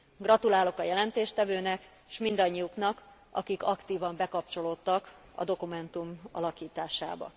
Gratulálok a jelentéstevőnek, és mindannyiuknak, akik aktívan bekapcsolódtak a dokumentum alakításába.